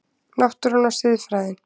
Náttúran og siðfræðin